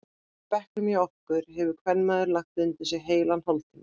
Í bekknum hjá okkur hefur kvenmaður lagt undir sig heilan hálftíma.